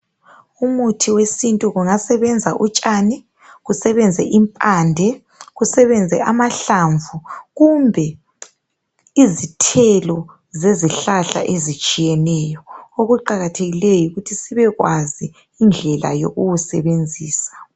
Umuthi wesintu kungasebenza utshani, kusebenze impande kusebenze amahlamvu kumbe izithelo zezihlahla ezitshiyeneyo. Okuqakathekileyo yikuthi sibe kwazi indlela yokuwusebenzisa.